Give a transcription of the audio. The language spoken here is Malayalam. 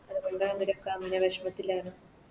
അത്കൊണ്ട് വെഷമത്തിലാണ്